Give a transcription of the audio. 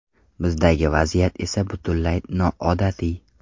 Bizdagi vaziyat esa butunlay noodatiy.